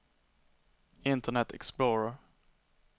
internet explorer